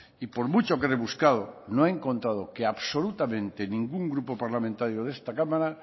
y por mucho que he rebuscado no he encontrado que absolutamente ningún grupo parlamentario de esta cámara